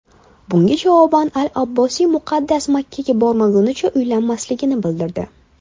Bunga javoban al-Abbosiy muqaddas Makkaga bormagunicha uylanmasligini bildirdi.